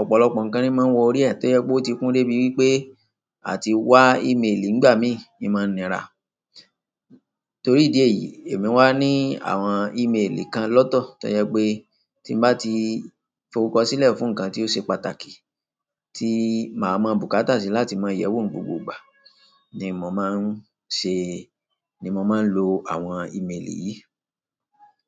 ọ̀pọ̀lọpọ̀ ǹkan ni máa ń wọ orí rẹ̀ tó jẹ́ pé ó ti kún dé bí wí pé àti wá email nígbà mí ni máa nira. Torí ìdí èyí, èmi wá ní àwọn email kan lọ́tọ̀ tó jẹ́ pé tí mo bá ti forúkọ sílẹ̀ fún ǹkan tí ó ṣe pàtàkì tí màá mọ bùkátà sí láti máa yẹ̀ wò ní gbogbo ìgbà ni mo máa ń ṣe, ni mo máa ń lo àwọn email yìí.